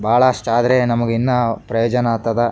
ಬಹಳ ಅಷ್ಟಾದ್ರೆ ನಮಗೆ ಇನ್ನ ಪ್ರಯೋಜನ ಆತದ.